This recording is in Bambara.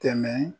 Tɛmɛ